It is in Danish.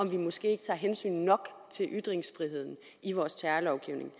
vi måske ikke tager hensyn nok til ytringsfriheden i vores terrorlovgivning